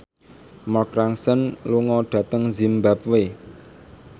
Mark Ronson lunga dhateng zimbabwe